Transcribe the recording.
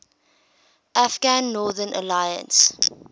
afghan northern alliance